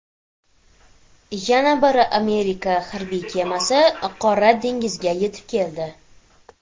Yana bir Amerika harbiy kemasi Qora dengizga yetib keldi.